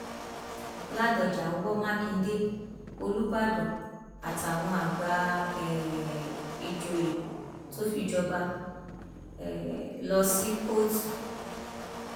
ládọjá wọ mákindé olùbàdàn àtàwọn àgbà um ìjòyè tó fi jọba um lọ sí kóòtù